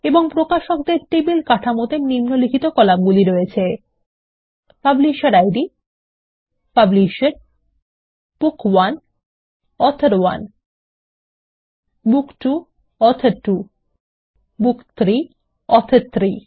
এবং প্রকাশকদের টেবিল কাঠামোতে নিম্নলিখিত কলামগুলি আছে publisher id publisher book 1 author 1 book 2 author 2 book 3 author 3